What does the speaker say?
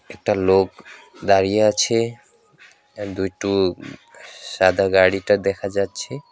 একটা লোক দাঁড়িয়ে আছে আর দুইটো সাদা গাড়িটা দেখা যাচ্ছে।